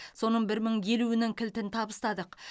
соның соның бір мың елуінің кілтін табыстадық